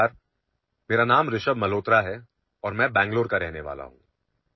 नमस्कार माझे नाव ऋषभ मल्होत्रा आहे आणि मी बेंगळूरूचा रहिवासी आहे